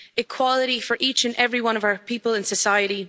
achieve equality for each and every one of our people in society